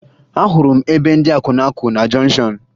Ahụrụ m ebe ndị akwụna kwụ na jọnshọn